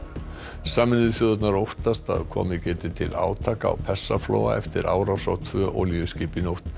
sameinuðu þjóðirnar óttast að komið geti til átaka á Persaflóa eftir árás á tvö olíuskip í nótt